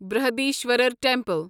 Brihadeeswarar temple